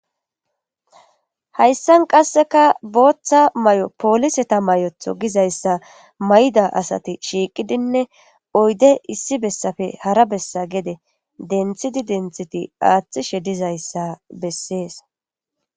Hayssan qasseka booththa may'o pooliseta may'otho gizayssa mayda asati shiiqidinne oyde issi bessafe hara bessa gede denthiti denthiti aaththishe dizayssa bessees.